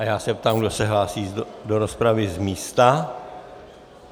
A já se ptám, kdo se hlásí do rozpravy z místa.